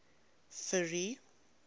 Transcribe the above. ferry